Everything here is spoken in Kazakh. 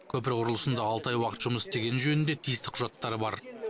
көпір құрылысында алты ай уақыт жұмыс істегені жөнінде тиісті құжаттары бар